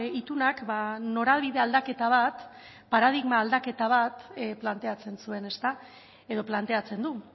itunak norabide aldaketa bat paradigma aldaketa bat planteatzen zuen edo planteatzen du